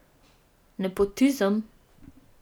Nepotizem?